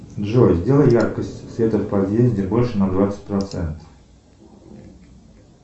джой сделай яркость света в подъезде больше на двадцать процентов